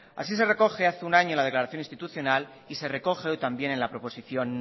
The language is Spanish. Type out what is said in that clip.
así se recoge hace un año la declaración institucional y ser recoge hoy también en la proposición